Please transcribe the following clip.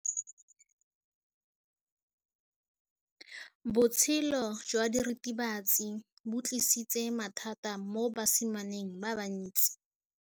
Botshelo jwa diritibatsi ke bo tlisitse mathata mo basimaneng ba bantsi.